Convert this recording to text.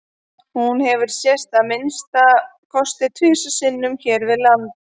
Hún hefur sést að minnsta kosti tvisvar sinnum hér við land.